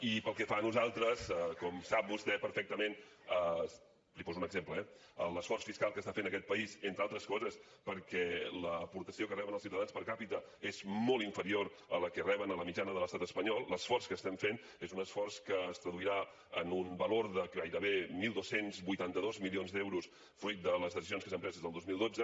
i pel que fa a nosaltres com sap vostè perfectament li’n poso un exemple eh l’esforç fiscal que està fent aquest país entre altres coses perquè l’aportació que reben els ciutadans per capita és molt inferior a la que reben a la mitjana de l’estat espanyol l’esforç que estem fent és un esforç que es traduirà en un valor de gairebé dotze vuitanta dos milions d’euros fruit de les decisions que s’han pres des del dos mil dotze